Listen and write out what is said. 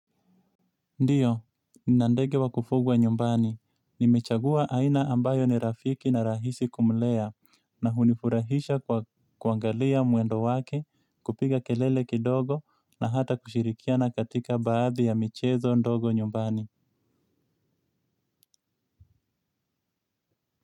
Ndiyo, ninandege wa kufugwa nyumbani. Nimechagua aina ambayo ni rafiki na rahisi kumlea na hunifurahisha kuangalia muendo wake, kupiga kelele kidogo na hata kushirikiana katika baadhi ya michezo ndogo nyumbani.